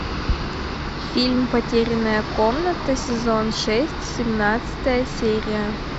фильм потерянная комната сезон шесть семнадцатая серия